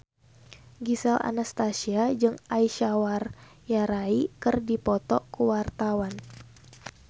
Gisel Anastasia jeung Aishwarya Rai keur dipoto ku wartawan